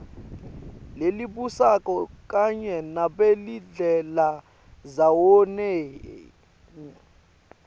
lelibusako kanye nabelidlelandzawonye